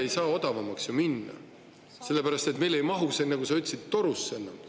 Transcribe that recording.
… ei saa odavamaks ju minna, sellepärast et meil ei mahu see, nagu sa ütlesid, torusse enam.